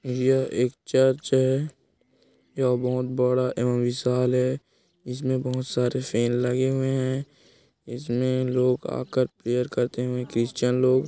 यह एक चर्च है यह बहोत बड़ा एवं विशाल है इसमें बहुत सारे फेन लगे हुए है इसमें लोग आकर के प्रेयर करते है क्रिश्चियन लोग--